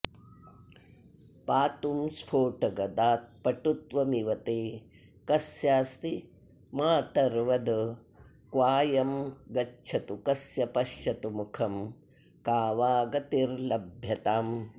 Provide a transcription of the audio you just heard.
पातुं स्फोटगदात् पटुत्वमिव ते कस्यास्ति मातर्वद क्कायं गच्छतु कस्य पश्यतु मुखं का वा गतिर्लभ्यताम्